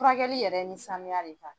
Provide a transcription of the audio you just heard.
Furakɛli yɛrɛ ni sanuya de bɛ taa.